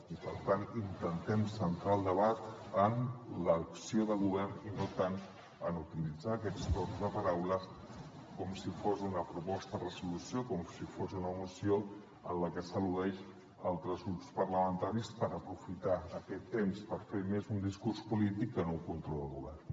i per tant intentem centrar el debat en l’acció de govern i no tant en utilitzar aquests torns de paraula com si fos una proposta de resolució com si fos una moció en la que s’al·ludeixen altres grups parlamentaris per aprofitar aquest temps per fer més un discurs polític que no un control al govern